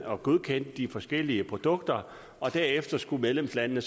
og godkendte de forskellige produkter og derefter skulle medlemslandene